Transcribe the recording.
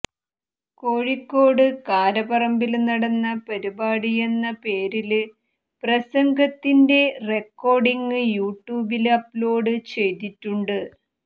കോഴിക്കോട് കാരപറമ്പില് നടന്ന പരിപാടിയെന്ന പേരില് പ്രസംഗതത്തിന്റെ റെക്കോര്ഡിങ് യൂട്യൂബില് അപ്ലോഡ് ചെയ്തിട്ടുണ്ട്